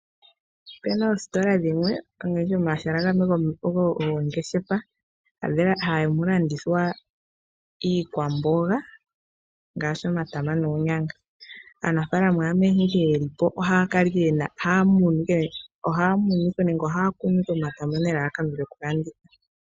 Opena omahala gamwe moongeshefa hama landitwha iikwamboga ngaashi omata noonyanga aanafaalama nkene yelipo ohaya kala ohaya munu nenge ohaya kunu omatama nelalakano lyokulanditha.